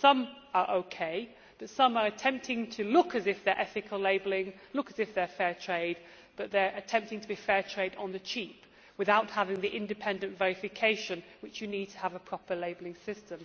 Some are OK, but some are attempting to look as if they are ethical labelling, look as if they are fair trade, but they are attempting to be fair trade on the cheap, without having the independent verification which you need to have a proper labelling system.